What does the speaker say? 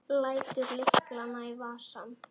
Lætur lyklana í vasann.